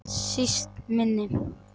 Síst minni.